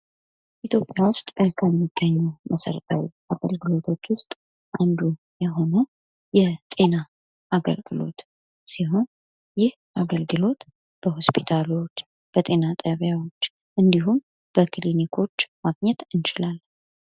የኢትዮጵያ ውስጥ ከሚገኙ መሰረታዊ አገልግሎቶች ውስጥ አንዱ የሆነው የጤና አገልግሎት ሲሆን ይህ አገልግሎት በሆስፒታሎች፣ በጤና ጣቢያዎች እንዲሁም በክሊኒኮች ማግኘት እንችላለን።